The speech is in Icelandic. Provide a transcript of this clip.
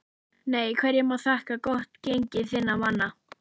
NEI Hverju má þakka gott gengi þinna manna?